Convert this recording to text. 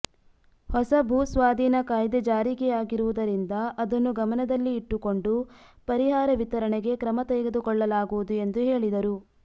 ಹೊಸ ಭೂಸ್ವಾಧೀನ ಕಾಯ್ದೆ ಜಾರಿಯಾಗಿರುವುದರಿಂದ ಅದನ್ನು ಗಮನದಲ್ಲಿ ಇಟ್ಟುಕೊಂಡು ಪರಿಹಾರ ವಿತರಣೆಗೆ ಕ್ರಮ ತೆಗೆದುಕೊಳ್ಳಲಾಗುವುದು ಎಂದು ಹೇಳಿದರು